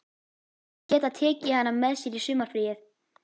Þau geta tekið hana með sér í sumarfríið.